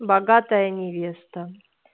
богатая невеста